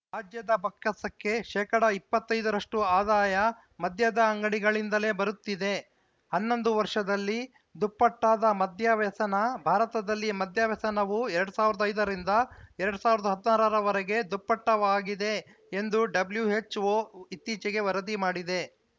ರಾಜ್ಯದ ಬಾ ಕ್ಕಸಕ್ಕೆ ಶೇಕಡಾ ಇಪ್ಪತ್ತ್ ಐದ ರಷ್ಟುಆದಾಯ ಮದ್ಯದ ಅಂಗಡಿಗಳಿಂದಲೇ ಬರುತ್ತಿದೆ ಹನ್ನೊಂದು ವರ್ಷದಲ್ಲಿ ದುಪ್ಪಟ್ಟಾದ ಮದ್ಯ ವ್ಯಸನ ಭಾರತದಲ್ಲಿ ಮದ್ಯವ್ಯಸನವು ಎರಡ್ ಸಾವಿರದ ಐದ ರಿಂದ ಎರಡ್ ಸಾವಿರದ ಹದ್ ನಾರ ರ ವರೆಗೆ ದುಪ್ಪಟ್ಟಾಗಿದೆ ಎಂದು ಡಬ್ಲ್ಯುಎಚ್‌ಒ ಇತ್ತೀಚೆಗೆ ವರದಿ ಮಾಡಿದೆ